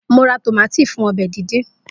Mo ra tómátì fún ọbẹ̀ díndín.